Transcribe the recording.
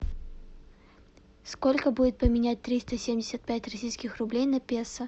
сколько будет поменять триста семьдесят пять российских рублей на песо